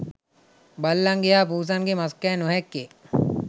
බල්ලන්ගේ හා පුසන්ගේ මස්කෑ නොහැක්කේ